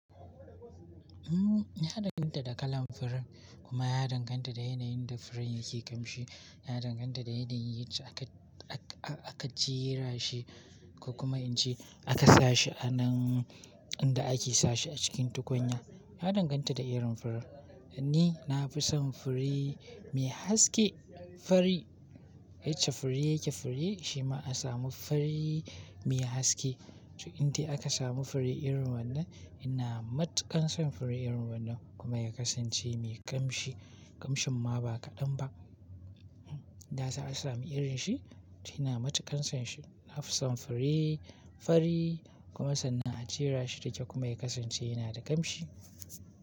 Ya danganta da kalan furen kuma ya danganta da yanayin da furen yake kamshi. Ya danganta da yanayin yace aka, a-a-aka jera shi ko kuma in ce aka sa shi a nan inda ake sa shi a cikin tukunya. Ya danganta da irin furen. Ni na fi son fure mai haske, fari. Yacca fure yake fure shi ma a samu fari mai haske. To inta aka samu fure irin wannan, ina matuƙan son fure irin wannan kuma ya kasance mai kamshi. Kamshin ma ba kaɗan ba. Na sa a samu irin shi to ina matuƙan son shi. Na fi son fure fari kuma sannan a jera shi da kyau kuma ya kasance yana da kamshi.